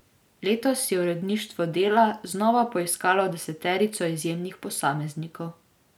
Letos je uredništvo Dela znova poiskalo deseterico izjemnih posameznikov.